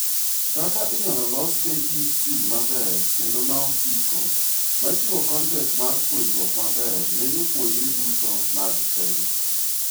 .Kaka inyalo los KEC maber kendo ma osiko machiwo kontent mar puonjruok maber ne jopuojre duto mag Kenya